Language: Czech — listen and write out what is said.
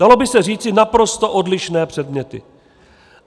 Dalo by se říci - naprosto odlišné předměty.